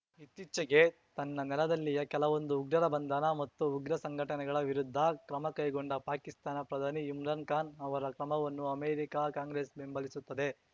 ಇತ್ತೀಚೆಗೆ ತನ್ನ ನೆಲದಲ್ಲಿಯ ಕೆಲವೊಂದು ಉಗ್ರರ ಬಂಧನ ಮತ್ತು ಉಗ್ರ ಸಂಘಟನೆಗಳ ವಿರುದ್ಧ ಕ್ರಮಕೈಗೊಂಡ ಪಾಕಿಸ್ತಾನ ಪ್ರಧಾನಿ ಇಮ್ರಾನ್ ಖಾನ್ ಅವರ ಕ್ರಮವನ್ನು ಅಮೆರಿಕಾ ಕಾಂಗ್ರೆಸ್ ಬೆಂಬಲಿಸುತ್ತದೆ